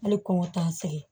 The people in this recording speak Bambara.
Hali kɔngɔ t'an sɛgɛn